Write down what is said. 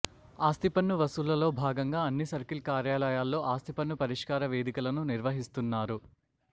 ఆస్తిపన్ను వసూళ్లలో భాగంగా అన్ని సర్కిల్ కార్యాలయాల్లో ఆస్తిపన్ను పరిష్కార వేదికలను నిర్వహిస్తున్నారు